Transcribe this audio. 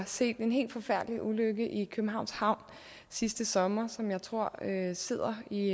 set en helt forfærdelig ulykke i københavns havn sidste sommer som jeg tror sidder i